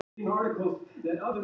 Telur bannið mismuna fólki